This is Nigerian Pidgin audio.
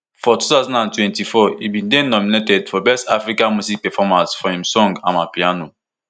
for two thousand and twenty-four e bin dey nominated for best african music performance for im song amapiano